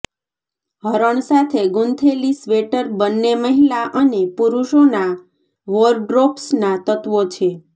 હરણ સાથે ગૂંથેલી સ્વેટર બંને મહિલા અને પુરુષોના વોરડ્રોબ્સના તત્વો છે